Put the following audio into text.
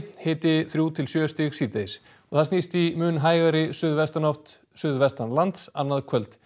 hiti þriggja til sjö stig síðdegis snýst í mun hægari suðvestanátt suðvestanlands annað kvöld